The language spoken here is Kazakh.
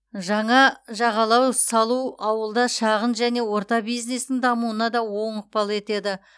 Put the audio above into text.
жаңа жағалау салу ауылда шағын және орта бизнестің дамуына да оң ықпал етеді